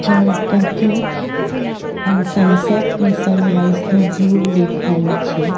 જ્યાં ઉપરથી અ સનસેટ ને સનરાઈઝ નો વ્યુ દેખાય છે.